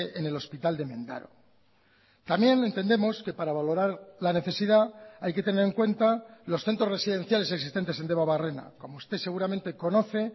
en el hospital de mendaro también entendemos que para valorar la necesidad hay que tener en cuenta los centros residenciales existentes en debabarrena como usted seguramente conoce